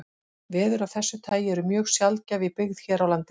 Veður af þessu tagi eru mjög sjaldgæf í byggð hér á landi.